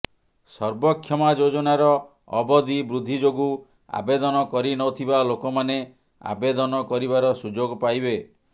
ସର୍ବକ୍ଷମା ଯୋଜନାର ଅବଧି ବୃଦ୍ଧି ଯୋଗୁଁ ଆବେଦନ କରି ନଥିବା ଲୋକମାନେ ଆବେଦନ କରିବାର ସୁଯୋଗ ପାଇବେ